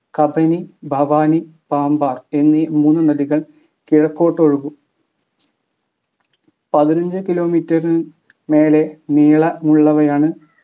കബനി ഭവാനി പാമ്പാർ എന്നീ മൂന്ന് നദികൾ കിഴക്കോട്ടൊഴുകും പതിനഞ്ച് kilometre ന് മേലെ നീളമുള്ളവയാണ്